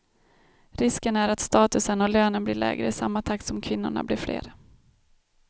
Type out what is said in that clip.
Risken är att statusen och lönen blir lägre i samma takt som kvinnorna blir fler.